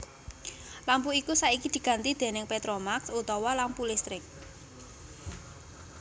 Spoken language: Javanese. Lampu iku saiki diganti déning petromax utawa lampu listrik